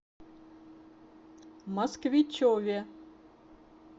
москвичеве